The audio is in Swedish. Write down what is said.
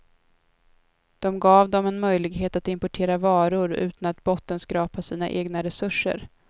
De gav dem en möjlighet att importera varor utan att bottenskrapa sina egna resurser.